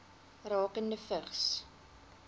rakende vigs